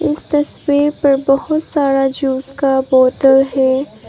इस तस्वीर पर बहुत सारा जूस का बॉटल है।